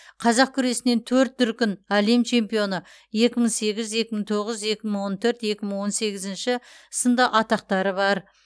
қазақ күресінен төрт дүркін әлем чемпионы екі мың сегіз екі мың тоғыз екі мың он төрт екі мың он сегізінші сынды атақтары бар